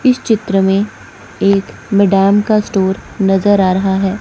इस चित्र में एक मिडान का स्टोर नजर आ रहा है।